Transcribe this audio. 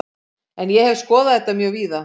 En ég hef skoðað þetta mjög víða.